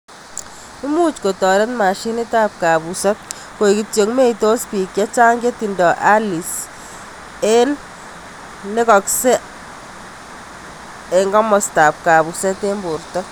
Much kotoret machinit ak kapuset, kaek kityo meitos pik chechang chetindoi ALS ing ngekakset ap mastap kapuset ing porto.